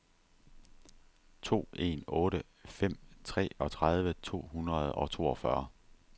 to en otte fem treogtredive to hundrede og toogfyrre